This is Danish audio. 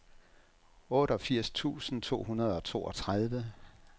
otteogfirs tusind to hundrede og toogtredive